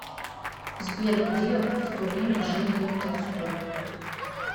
сбер где в то время жил лев толстой